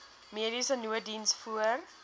mediese nooddiens voor